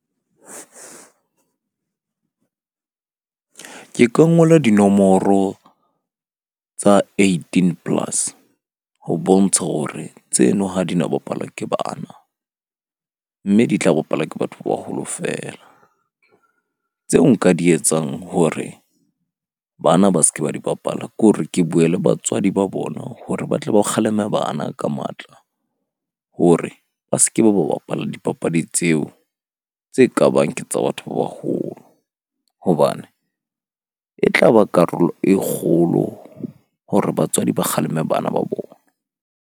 Ke ka ngola dinomoro tsa eighteen plus ho bontsha hore tseno ha di no bapalwa ke bana. Mme di tla bapalwa ke batho ba baholo feela. Tseo nka di etsang hore bana ba ske ba di bapala ke hore ke bue le batswadi ba bona hore ba tle ba kgaleme, bana ka matla hore ba ske ba ba bapala dipapadi tseo tse kabang ke tsa batho ba baholo. Hobane e tla ba karolo e kgolo hore batswadi ba kgaleme bana ba bona.